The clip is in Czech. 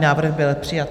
Návrh byl přijat.